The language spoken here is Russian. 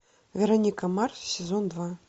вероника марс сезон два